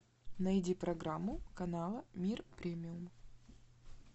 найди программу канала мир премиум